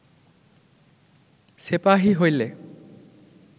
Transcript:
সেপাহী হইলে